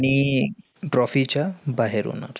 trophy च्या बाहेर होणार.